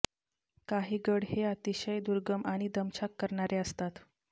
काही गड हे अतिशय दुर्गम आणि दमछाक करणारे असतात